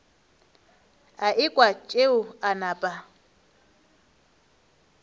a ekwa tšeo a napa